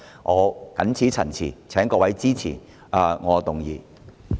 我謹此陳辭，請各位支持我提出的議案。